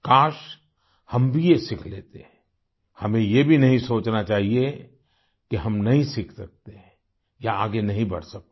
काश हम भी ये सीख लेते हमें ये भी नहीं सोचना चाहिए कि हम नहीं सीख सकते या आगे नहीं बढ़ सकते